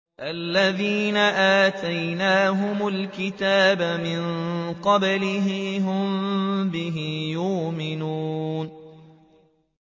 الَّذِينَ آتَيْنَاهُمُ الْكِتَابَ مِن قَبْلِهِ هُم بِهِ يُؤْمِنُونَ